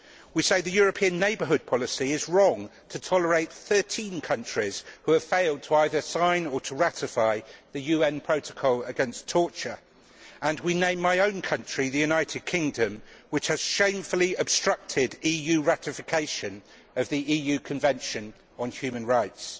We say that the European Neighbourhood Policy is wrong to tolerate thirteen countries which have failed to either sign or to ratify the UN Protocol against Torture, and we name my own country the United Kingdom which has shamefully obstructed EU ratification of the EU Convention on Human Rights.